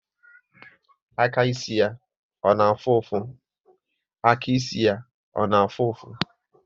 Aka ịsị ya ọ na afụ ụfụ?